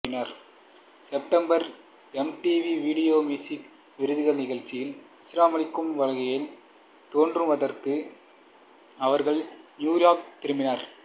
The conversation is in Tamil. செப்டம்பரில் எம்டிவி வீடியோ மியூசிக் விருதுகள் நிகழ்ச்சியில் ஆச்சரியமளிக்கும் வகையில் தோன்றுவதற்காக அவர்கள் நியூயார்க் திரும்பினர்